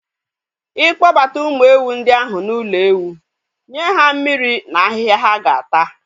I kpọbata ụmụ ewu ndị ahụ ụlọ ewu, nye ha mmiri na ahịhịa ha ga-ata